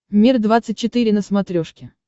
мир двадцать четыре на смотрешке